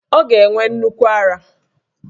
Ọ ga-enwe nnukwu ara